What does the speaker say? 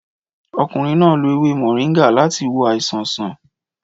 Ọkùnrin náà lo ewé moringa láti wo àìsàn sàn